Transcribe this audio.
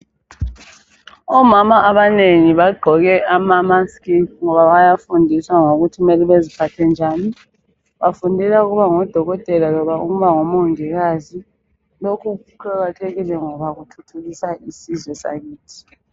Omama abanengi bagqoke ama musk ngoba bayafundiswa ngokuthi mele bezphathe njani. Bafundela ukuba ngodokotela loba ukuba ngomongikazi . Lokhu kuqakathekile ngoba kuthuthukisa isizwe sakithi.